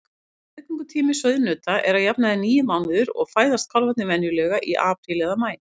Meðgöngutími sauðnauta er að jafnaði níu mánuðir og fæðast kálfarnir venjulega í apríl eða maí.